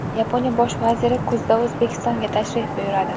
Yaponiya bosh vaziri kuzda O‘zbekistonga tashrif buyuradi.